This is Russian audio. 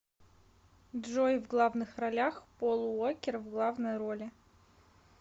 джой в главных ролях пол уоккер в главной роли